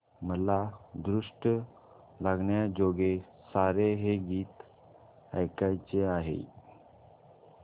मला दृष्ट लागण्याजोगे सारे हे गीत ऐकायचे आहे